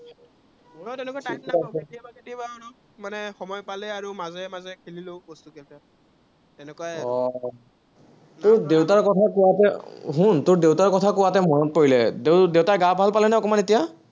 মোৰো তেনেকুৱা time নাপাঁও, কেতিয়াবা আৰু মানে সময় পালে আৰু, মাজে মাজে খেলি লওঁ বস্তুকেইটা। তেনেকুৱাই আৰু উম তোৰ দেউতাৰ কথা কোৱাতহে, শুন, তোৰ দেউতাৰ কথাকোৱাতহে মোৰ মনত পৰিলে, তোৰ দেউতা গা ভাল পালেনে অকণমান এতিয়া।